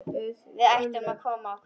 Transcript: Við ættum að koma okkur.